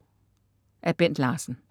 Af Bent Larsen